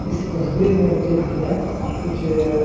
इस तस्वीर मे मुझे भैया कुछ अ--